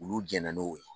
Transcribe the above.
Olu jɛnna n'o ye